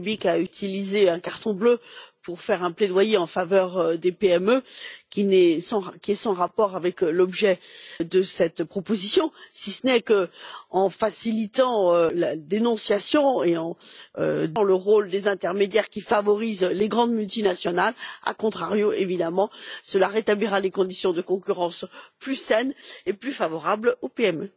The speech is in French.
Rübig a utilisé un carton bleu pour faire un plaidoyer en faveur des PME, qui est sans rapport avec l'objet de cette proposition, si ce n'est qu'en facilitant la dénonciation et en supprimant le rôle des intermédiaires qui favorise les grandes multinationales, a contrario, évidemment, cela rétablira des conditions de concurrence plus saines et plus favorables aux PME.